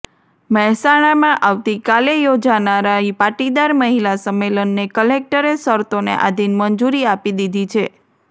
મહેસાણામાં આવતી કાલે યોજાનારા પાટીદાર મહિલા સંમેલનને કલેક્ટરે શરતોને આધિન મંજૂરી આપી દીધી છે